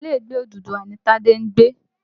Ilé Ìgbé Odùduwà ni Tádé ń gbé.